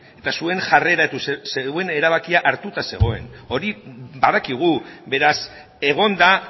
eta zuen jarrera eta zeuen erabakia hartuta zegoen hori badakigu beraz egon da